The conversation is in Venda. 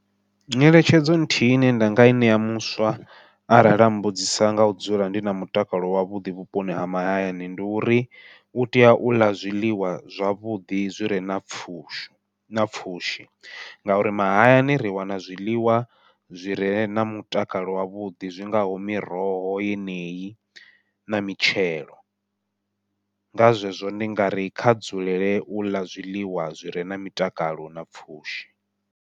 Nyeletshedzo nthihi ine nda nga i ṋea muswa arali a mbudzisa ngau dzula ndi na mutakalo wavhuḓi vhuponi ha mahayani, ndi uri u tea u ḽa zwiḽiwa zwavhuḓi zwi re na pfhushi na pfhushi. Ngauri mahayani ri wana zwiḽiwa zwi re na mutakalo wavhuḓi zwi ngaho miroho yeneyi na mitshelo, nga zwezwo ndi nga ri kha dzulele u ḽa zwiḽiwa zwire na mutakalo na pfhushi.